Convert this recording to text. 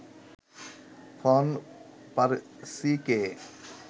von পার্সিকে